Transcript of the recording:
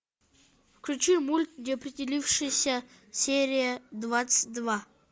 включи мульт неопределившиеся серия двадцать два